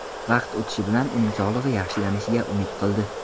Vaqt o‘tishi bilan uning sog‘lig‘i yaxshilanishiga umid qildi.